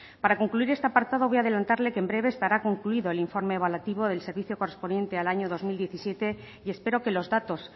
para concluir este apartado voy a adelantarles que en breve que estará concluido el informe evaluativo del servicio correspondiente al año dos mil diecisiete y espero que los datos